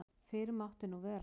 Fyrr mátti nú vera!